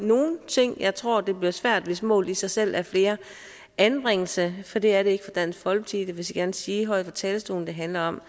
nogle ting jeg tror det bliver svært hvis målet i sig selv er flere anbringelser for det er det ikke for dansk folkeparti det vil jeg gerne sige højt fra talerstolen det handler om at